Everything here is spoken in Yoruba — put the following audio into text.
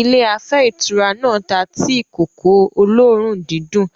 Ilé afẹ́ ìtura náà ta tíì-kòkó olóòórùn-dídùn